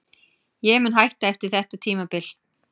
Ég mun hætta eftir þetta tímabil.